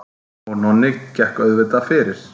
Og Nonni gekk auðvitað fyrir.